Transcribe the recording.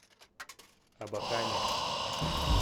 абакане